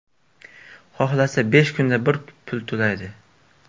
Xohlasa besh kunda bir pul to‘laydi.